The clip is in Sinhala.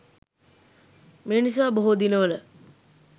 මේ නිසා බොහෝ දිනවල